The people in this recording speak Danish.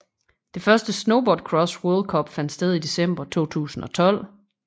Det første Snowboard Cross World Cup fandt sted i december 2012